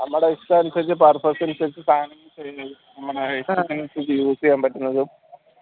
നമ്മടെ ഇഷ്ട്ടം അനുസരിച്ച്‌ purpose അനുസരിച്ച്‌ സാനം use ചെയ്യാൻ പറ്റുന്നതും